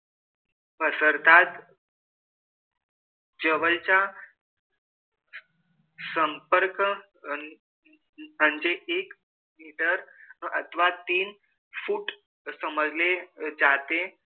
पसरतात. जवळच्या संपर्क अन म्हणजे एक अथवा तीन foot समजले जाते.